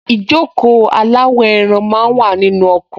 Ìjókòó aláwọ̀-ẹran máa wà nínú ọkọ̀